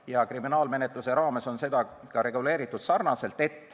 Ja kriminaalmenetluse raames on seda ka reguleeritud.